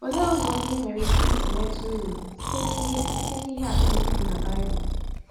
Olee ụzọ ndị i nwere ike isi nweta uru site n’ihe site n’ihe atụ ndị dị na Baịbụl?